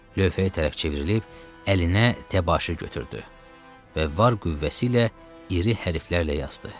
Lövhəyə tərəf çevrilib əlinə təbaşir götürdü və var qüvvəsi ilə iri hərflərlə yazdı.